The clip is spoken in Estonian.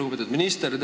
Lugupeetud minister!